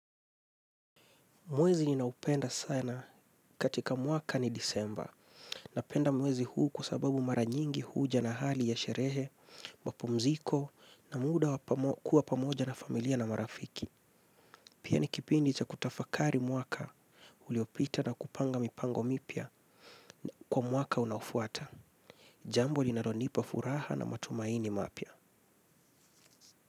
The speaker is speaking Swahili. Mwezi ninaoupenda sana katika mwaka ni disemba. Napenda mwezi huu kwa sababu maranyingi huja na hali ya sherehe, mapumziko na muda kuwa pamoja na familia na marafiki. Pia nikipindi cha kutafakari mwaka, uliopita na kupanga mipango mipya kwa mwaka unaofuata. Jambo linalonipa furaha na matumaini mapya.